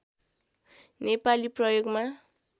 नेपाली प्रयोगमा